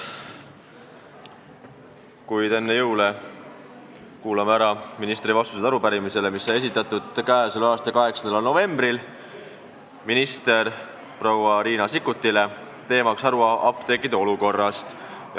Kuid enne jõule kuulame ära minister proua Riina Sikkuti vastused arupärimisele, mis on esitatud k.a 8. novembril ja mille teema on haruapteekide olukord.